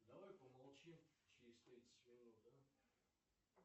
давай помолчим через тридцать минут